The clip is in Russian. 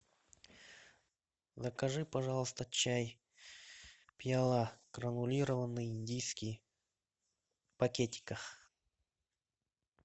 закажи пожалуйста чай пиала гранулированный индийский в пакетиках